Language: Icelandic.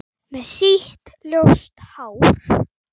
Með sítt, ljóst hár.